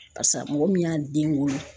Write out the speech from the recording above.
mɔgɔ min y'a den wolo.